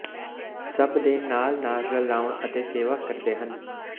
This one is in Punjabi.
ਸਭ ਦੇ ਨਾਲ ਨਾਲ ਰਲਾਉਣ ਅਤੇ ਸੇਵਾ ਕਰਦੇ ਹਨ